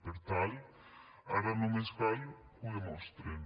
per tant ara només cal que ho demostren